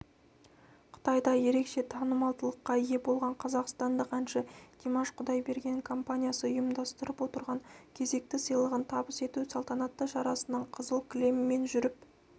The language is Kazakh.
қытайда ерекше танымалдылыққа ие болған қазақстандық әнші димаш құдайберген компаниясы ұйымдастырып отырған кезекті сыйлығын табыс ету салтанатты шарасының қызыл кілемімен жүріп